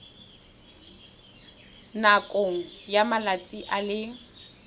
nakong ya malatsi a le